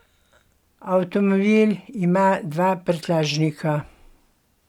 Avtomobil ima dva prtljažnika.